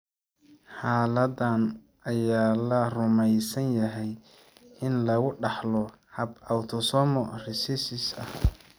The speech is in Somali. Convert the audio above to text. Xaaladdan ayaa la rumeysan yahay in lagu dhaxlo hab autosomal recessive ah.